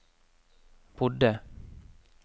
bodde